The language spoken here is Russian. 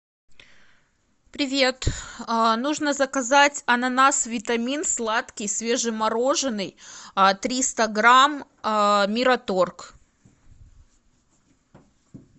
привет нужно заказать ананас витамин сладкий свежемороженной триста грамм мираторг